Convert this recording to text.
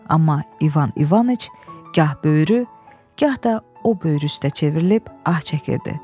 Amma İvan İvanıç gah böyrü, gah da o böyrü üstə çevrilib ah çəkirdi.